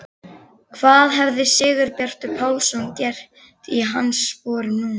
Hvað hefði Sigurbjartur Pálsson gert í hans sporum núna?